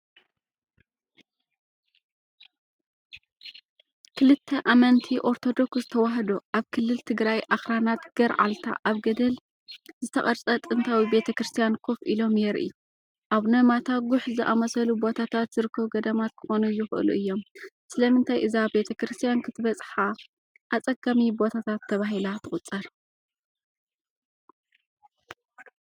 ክልተ ኣመንቲ ኦርቶዶክስ ተዋህዶ ኣብ ክልል ትግራይ ኣኽራናት ገርዓልታ ኣብ ገደል ዝተቐርጸ ጥንታዊ ቤተ ክርስቲያን ኮፍ ኢሎም የርኢ። ኣቡነ ማታ ጉሕ ዝኣመሰሉ ቦታታት ዝርከቡ ገዳማት ክኾኑ ይኽእሉ እዮም። ስለምንታይ እዛ ቤተ ክርስቲያን ክትበጽሓ ኣጸጋሚ ቦታታት ተባሂላ ትቑጸር?